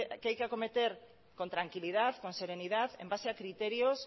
que hay que acometer con tranquilidad con serenidad en base a criterios